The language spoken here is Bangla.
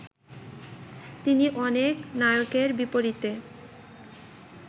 তিনি অনেক নায়কের বিপরীতে